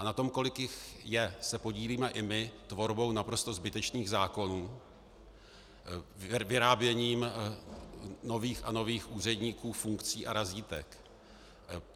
A na tom, kolik jich je, se podílíme i my tvorbou naprosto zbytečných zákonů, vyráběním nových a nových úředníků, funkcí a razítek.